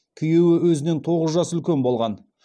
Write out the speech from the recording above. күйеуі өзінен тоғыз жас үлкен болған